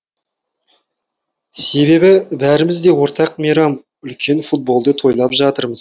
себебі бәріміз де ортақ мейрам үлкен футболды тойлап жатырмыз